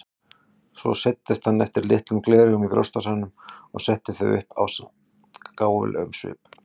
Svo seildist hann eftir litlum gleraugum í brjóstvasann og setti þau upp ásamt gáfulegum svip.